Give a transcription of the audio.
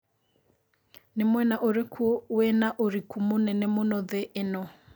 nĩ mwena ũrikũ wĩna ũriku mũnene mũno thĩ ĩno